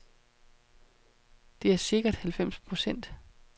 Det er sikkert halvfems procent.